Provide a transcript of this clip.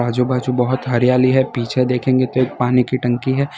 आजू बाजू बहुत हरियाली है पीछे देखेंगे तो एक पानी की टंकी है।